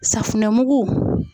Safunɛ mugu